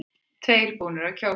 Tveir búnir að kjósa